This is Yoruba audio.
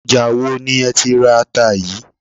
Ọjà wo ni ẹ ti ra ata yìí?